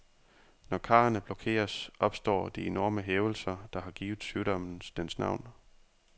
Når karrene blokeres, opstår de enorme hævelser, der har givet sygdommen dens navn.